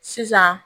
Sisan